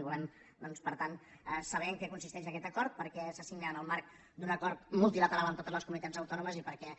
i volem doncs per tant saber en què consisteix aquest acord per què se signa en el marc d’un acord multilateral amb totes les comunitats autònomes i per què